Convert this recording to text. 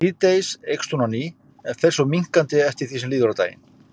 Síðdegis eykst hún á ný en fer svo minnkandi eftir því sem líður á daginn.